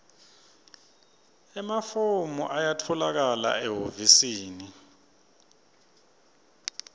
emafomu ayatfolakala ehhovisi